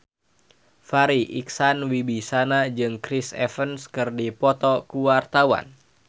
Farri Icksan Wibisana jeung Chris Evans keur dipoto ku wartawan